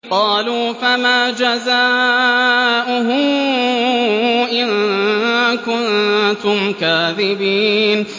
قَالُوا فَمَا جَزَاؤُهُ إِن كُنتُمْ كَاذِبِينَ